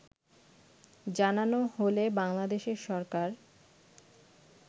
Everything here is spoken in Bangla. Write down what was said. জানানো হলে বাংলাদেশের সরকার